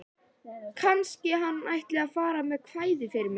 Kannski hann ætli að fara með kvæði fyrir mig.